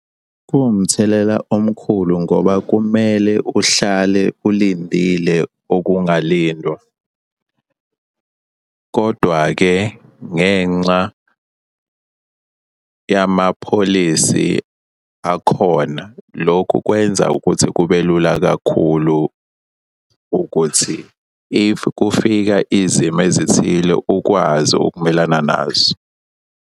Kuwumthelela omkhulu ngoba kumele uhlale ulindile okungalindwa, kodwa-ke ngenxa yamapholisi akhona, lokhu kwenza ukuthi kube lula kakhulu ukuthi if kufika izimo ezithile ukwazi ukumelana nazo.